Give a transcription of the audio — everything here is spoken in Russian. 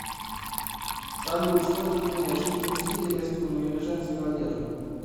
салют что труднее шить мужские костюмы или женскую одежду